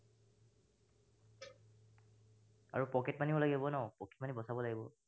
আৰু pocket money ও লাগিব ন, pocket money বচাব লাগিব।